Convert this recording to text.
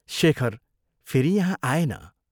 शेखर फेरि यहाँ आएन।